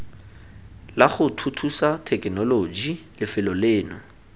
lago thuthusa thekenoloji lefelo leno